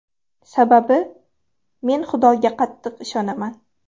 Sababi, men Xudoga qattiq ishonaman.